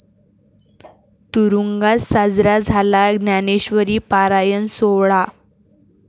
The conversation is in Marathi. तुरूंगात साजरा झाला ज्ञानेश्वरी पारायण सोहळा